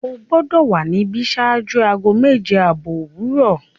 O gbọdọ wa níbí ṣáájú aago mẹ́je-abọ̀ owurọ!